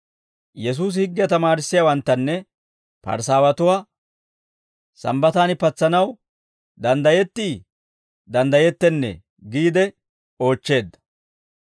Yesuusi higgiyaa tamaarissiyaawanttanne Parisaawatuwaa, «Sambbataan patsanaw danddayetti danddayettennee?» giide oochcheedda.